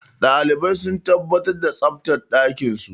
Dalibai su tabbatar da tsaftar ɗakinsu.